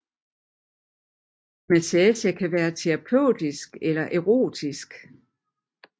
Massage kan være terapeutisk eller erotisk